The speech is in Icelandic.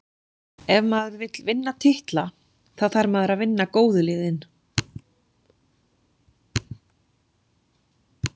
Ef maður vill vinna titla, þá þarf maður að vinna góðu liðin.